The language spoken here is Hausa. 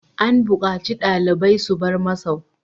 An bukaci ɗalibai su bar masau!